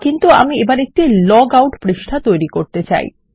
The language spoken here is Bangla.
কিন্তু আমি এখন একটি লগ আউট পৃষ্ঠা তৈরী করতে চাই